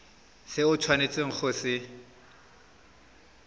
se o tshwanetseng go se